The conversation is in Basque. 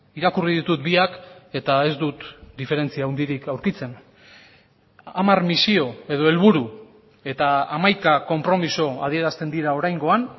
irakurri ditut biak eta ez dut diferentzia handirik aurkitzen hamar misio edo helburu eta hamaika konpromiso adierazten dira oraingoan